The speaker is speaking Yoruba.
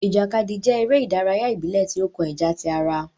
Ìjàkadì jẹ eré ìdárayá ibilẹ ti o kàn ìjà tí ará